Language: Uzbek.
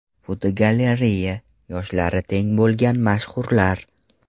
Fotogalereya: Yoshlari teng bo‘lgan mashhurlar.